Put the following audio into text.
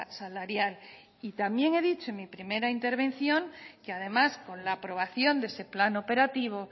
salarial también he dicho en mi primera intervención que además con la aprobación de ese plan operativo